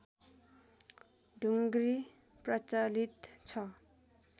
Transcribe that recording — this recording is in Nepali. ढुङ्ग्री प्रचलित छ